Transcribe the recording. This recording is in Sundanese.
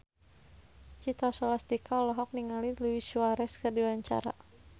Citra Scholastika olohok ningali Luis Suarez keur diwawancara